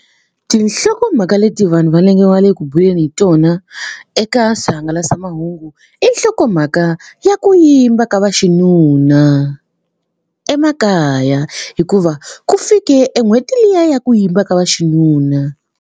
Tinhlokomhaka leti vanhu va va le ku buleni hi tona eka swihangalasamahungu i nhlokomhaka ya ku yimba ka vaxinuna emakaya hikuva ku fike e n'hweti liya ya ku yimba ka vaxinuna.